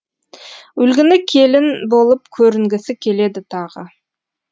үлгілі келін болып көрінгісі келеді тағы